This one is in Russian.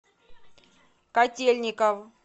котельников